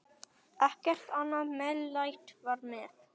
Ekkert annað meðlæti var með.